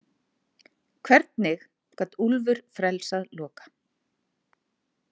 Hvernig gat Úlfur frelsað Loka?